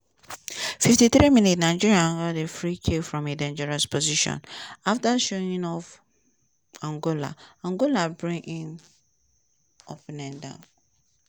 fifty three minute nigeria had a free kick from a dangerous position afta showing off angola angola bring im opponent down.